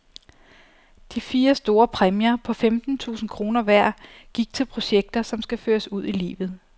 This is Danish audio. De fire store præmier på femten tusind kroner hver gik til projekter, som skal føres ud i livet.